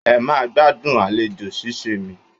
Ẹ máa gbádùn àlejò ṣíṣee mi.